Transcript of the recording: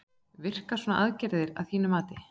Virkar svona aðgerð að þínu mati?